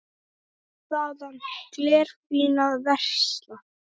Fór þaðan glerfín að versla.